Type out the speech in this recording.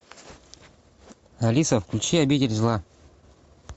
алиса включи обитель зла